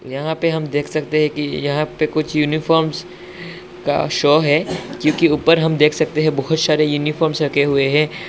यहां पे हम देख सकते हैं कि यहां पे कुछ यूनिफॉर्मस् का शो है क्योंकि ऊपर हम देख सकते हैं बहोत सारे यूनिफॉर्म रखे हुए हैं।